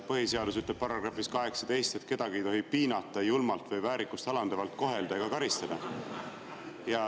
Põhiseadus § 18 ütleb, et kedagi ei tohi piinata, julmalt või väärikust alandavalt kohelda ega karistada.